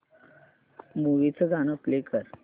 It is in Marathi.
मूवी चं गाणं प्ले कर